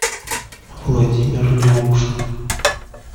владимир леушин